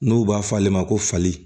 N'u b'a fɔ ale ma ko fali